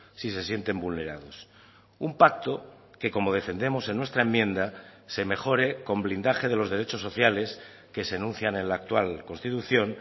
si se sienten vulnerados un pacto que como defendemos en nuestra enmienda se mejore con blindaje de los derechos sociales que se enuncian en la actual constitución